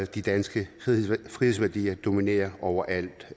de danske frihedsværdier dominere overalt